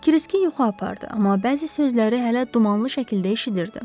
Kriski yuxu apardı, amma bəzi sözləri hələ dumanlı şəkildə eşidirdi.